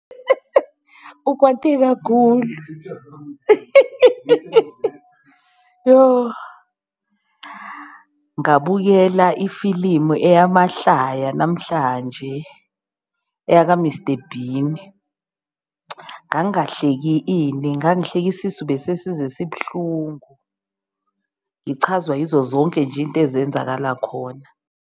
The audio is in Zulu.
Ukwate kakhulu yoh! Ngabukela ifilimu eyamahlaya namhlanje, eyaka Mister Bean ngangahleki ini, ngangihleka isisu besesize sibuhlungu, ngichazwa yizo zonke nje into ezenzakala khona.